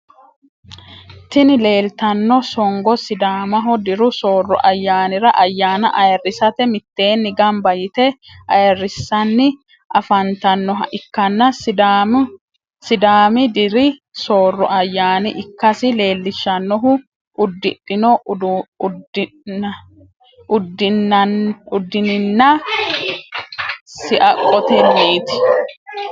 Tini lelitano songgo sidaamaho dirru sorro ayanira ayana ayirisatte miteni ganiba yitte ayirisani afanitanoha ikana sidaami dirri sorro ayana ikassi lelishshanohu udidhno uduninna siaqotenitti.